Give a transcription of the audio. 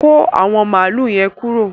Kọ̀ àwọn máàlù yẹ̀n kúró